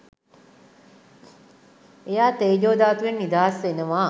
එයා තේජෝ ධාතුවෙන් නිදහස් වෙනවා